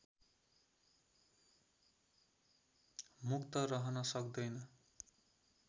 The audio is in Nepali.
मुक्त रहन सक्दैन